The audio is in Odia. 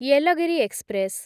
ୟେଲଗିରି ଏକ୍ସପ୍ରେସ୍‌